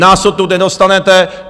Nás odtud nedostanete!